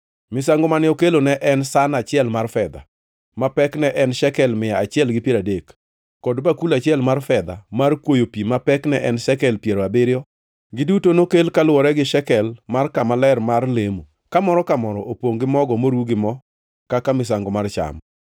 Misango mane okelo ne en san achiel mar fedha ma pekne ne en shekel mia achiel gi piero adek, kod bakul achiel mar fedha mar kwoyo pi ma pekne en shekel piero abiriyo. Giduto nokel kaluwore gi shekel mar kama ler mar lemo, ka moro ka moro opongʼ gi mogo moru gi mo kaka misango mar cham;